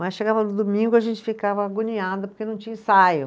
Mas chegava no domingo a gente ficava agoniada porque não tinha ensaio.